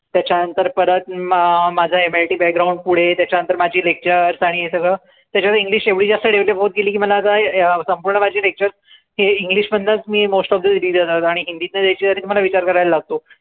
त्याच्या नंतर परत मा माझं MITbackground पुढे त्याच्या नंतर माझी lectures आणि हे सगळं त्याच्यात english एवढी जास्त develop होत गेली की मला आता अं संपूर्ण माझे lectures हे english मधनच मी mostofthe आणि हिंदी तन द्यायची राहिली त मला विचार करायला लागतो.